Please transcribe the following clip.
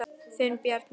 Þinn Bjarni.